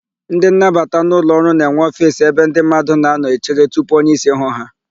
Ndị nnabata n'ụlọọrụ na-enwe ofiisi ebe ndị mmadụ na-anọ echere tupu onyeísí hụ ha.